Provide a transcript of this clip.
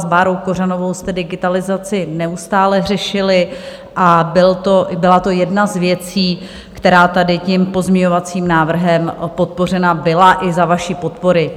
S Bárou Kořanovou jste digitalizaci neustále řešili a byla to jedna z věcí, která tady tím pozměňovacím návrhem podpořená byla, i za vaší podpory.